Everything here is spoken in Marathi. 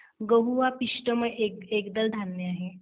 गहू हा पिष्टमय एकदल धान्य आहे.